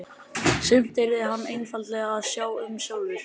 Sumt yrði hann einfaldlega að sjá um sjálfur.